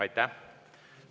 Aitäh!